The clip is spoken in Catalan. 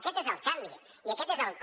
aquest és el canvi i aquest és el com